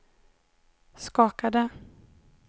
skakade